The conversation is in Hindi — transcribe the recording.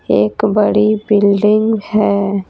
एक बड़ी बिल्डिंग है।